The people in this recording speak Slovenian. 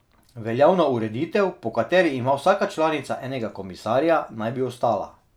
Veljavna ureditev, po kateri ima vsaka članica enega komisarja, naj bi ostala.